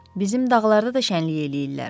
Bizim dağlarda da şənlik eləyirlər.